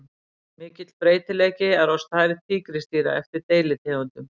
Mikill breytileiki er á stærð tígrisdýra eftir deilitegundum.